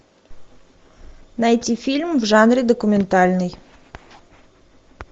найти фильм в жанре документальный